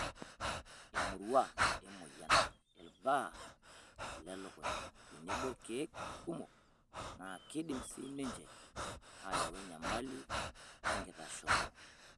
Amorua, emoyian, ilbaa lelukunya tenebo ilkeek kumok naa keidim sii ninche ayau enyamali enkitashoto.